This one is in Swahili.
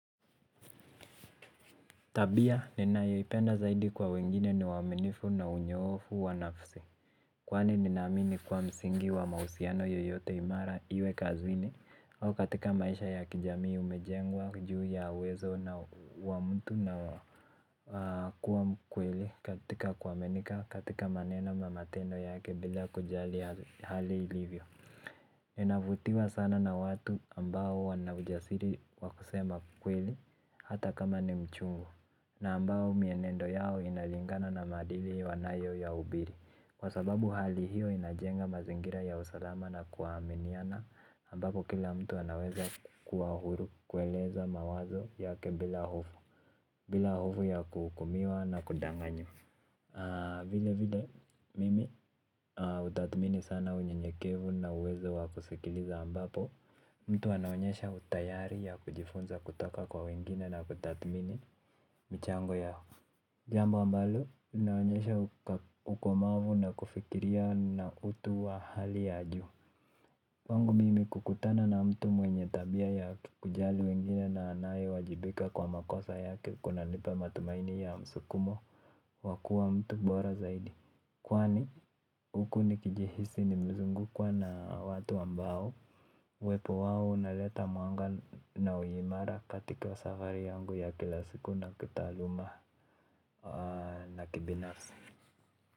Tabia ninayoipenda zaidi kwa wengine ni uaminifu na unyoofu wa nafsi. Kwani ninaamini kuwa msingi wa mahusiano yoyote imara iwe kazini au katika maisha ya kijamii umejengwa, juu ya uwezo na wa mtu na na kuwa mkweli katika kuaminika katika manena na matendo yake bila kujali hali ilivyo. Ninavutiwa sana na watu ambao wana ujasiri wakusema ukweli hata kama ni mchungu na ambao mienendo yao inalingana na maadili wanayo ya hubiri kwa sababu hali hiyo inajenga mazingira ya usalama na kuaminiana ambapo kila mtu anaweza kuwa huru kueleze mawazo yake bila hofu. Bila hofu ya kuhukumiwa na kudanganya vile vile mimi hutathmini sana unye nyekevu na uwezo wa kusikiliza ambapo mtu anaonyesha utayari ya kujifunza kutoka kwa wengine na kutathmini michango yao. Jambo ambalo, linaonyesha ukomavu na kufikiria na utu wa hali ya juu kwangu mimi kukutana na mtu mwenye tabia ya kujali wengine na anaye wajibika kwa makosa yake kuna nipa matumaini ya msukumo kwa kuwa mtu bora zaidi. Kwani, huku nikijihisi nimezungukwa na watu ambao uwepo wao una leta mwanga na uimara katika safari yangu ya kilasiku na kitaaluma na kibinafsi.